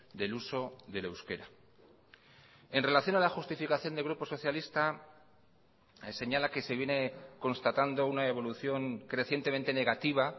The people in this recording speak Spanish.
del uso del euskera en relación a la justificación del grupo socialista señala que se viene constatando una evolución crecientemente negativa